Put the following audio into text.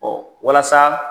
Ɔ walasa